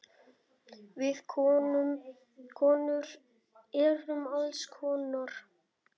Við konur erum alls konar.